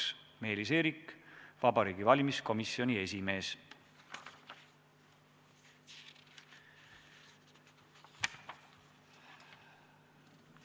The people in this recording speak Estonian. Alla on kirjutanud Meelis Eerik, Vabariigi Valimiskomisjoni esimees.